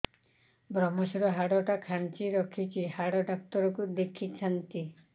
ଵ୍ରମଶିର ହାଡ଼ ଟା ଖାନ୍ଚି ରଖିଛି ହାଡ଼ ଡାକ୍ତର କୁ ଦେଖିଥାନ୍ତି